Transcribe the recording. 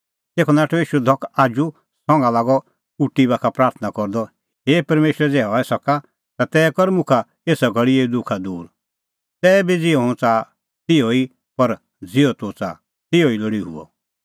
तेखअ नाठअ ईशू धख आजू संघा लागअ उटी बाखा प्राथणां करदअ हे परमेशर ज़ै हई सके ता तै कर मुखा एसा घल़ी एऊ दुखा दूर तैबी ज़िहअ हुंह च़ाहा तिहअ निं पर ज़िहअ तूह च़ाहा तिहअ लोल़ी हुअ